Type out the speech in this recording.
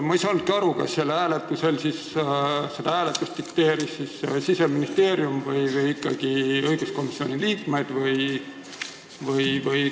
Ma ei saanudki aru, kas seda hääletust dikteeris Siseministeerium või dikteerisid seda ikkagi õiguskomisjoni liikmed?